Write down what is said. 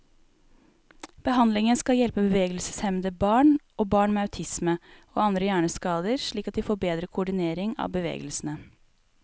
Behandlingen skal hjelpe bevegelseshemmede barn, og barn med autisme og andre hjerneskader slik at de får bedre koordinering av bevegelsene.